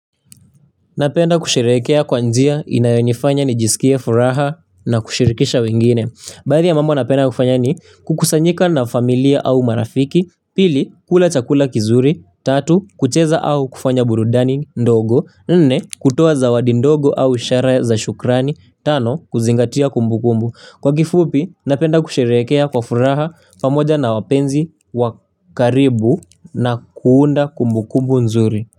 Napenda kusherekea kwa njia inayonifanya ni jisikie furaha na kushirikisha wengine. Baadhi ya mambo napenda kufanya ni kukusanyika na familia au marafiki, pili kula chakula kizuri, tatu kucheza au kufanya burudani ndogo, nne kutoa zawadi ndogo au isharaya za shukrani, tano kuzingatia kumbu kumbu. Kwa kifupi napenda kushereekea kwa furaha pamoja na wapenzi wakaribu na kuunda kumbu kumbu nzuri.